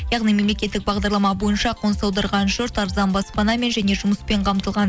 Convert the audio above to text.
яғни мемлекеттік бағдарлама бойынша қоныс аударған жұрт арзан баспанамен және жұмыспен қамтылған